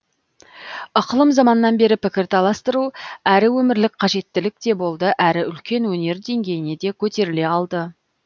ықылым заманнан бері пікір таластыру әрі өмірлік қажеттілік те болды әрі үлкен өнер деңгейіне де көтеріле алды